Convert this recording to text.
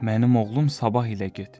Mənim oğlum Sabah ilə get.